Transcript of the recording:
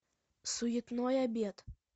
суетной обед